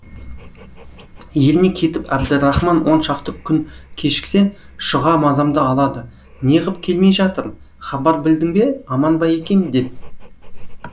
еліне кетіп әбдірахман он шақты күн кешіксе шұға мазамды алады не ғып келмей жатыр хабар білдің бе аман ба екен деп